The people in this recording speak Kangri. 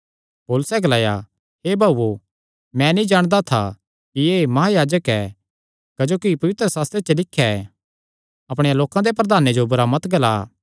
पौलुसैं ग्लाया हे भाऊओ मैं नीं जाणदा था कि एह़ महायाजक ऐ क्जोकि पवित्रशास्त्रे च लिख्या ऐ अपणेयां लोकां दे प्रधाने जो बुरा मत ग्ला